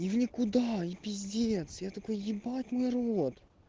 и в никуда и пиздец я такой ебать мой рот